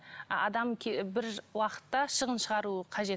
адам бір уақытта шығын шығару қажет